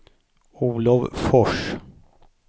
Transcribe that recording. Olov Fors